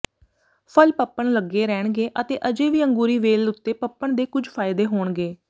ਫਲ ਪਪਣ ਲੱਗੇ ਰਹਿਣਗੇ ਅਤੇ ਅਜੇ ਵੀ ਅੰਗੂਰੀ ਵੇਲ ਉੱਤੇ ਪਪਣ ਦੇ ਕੁਝ ਫਾਇਦੇ ਹੋਣਗੇ